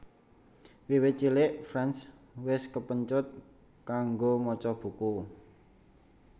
Wiwit cilik France wis kepencut kanggo maca buku